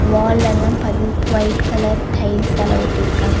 வாலெல்லாம் பதி white colour tiles ஆள ஒட்டிருக்காங்க.